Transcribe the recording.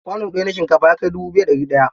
Kwano ɗaya na shinkafa ya kai dubu biyu da ɗari ɗaya.